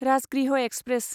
Rajgriha express